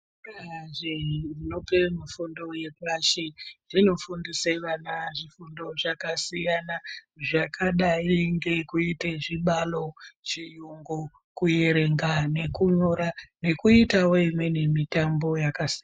Zvikora zvinope fundo yepashi zvino fundise vana zvifundo zvakasiyana zvakadai ngekuite zvibalo chiyungu kuerenga nekunyora nekuitawo mitombo yakasiyana.